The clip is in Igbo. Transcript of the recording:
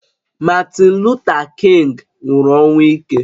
Martin Luther King nwụrụ ọnwụ ike